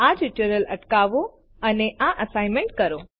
આ ટ્યુટોરીયલ અટકાવો અને આ અસાઈનમેન્ટ કરો